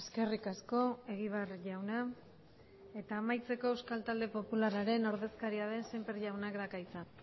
eskerrik asko egibar jauna eta amaitzeko euskal talde popularraren ordezkaria den semper jaunak dauka hitza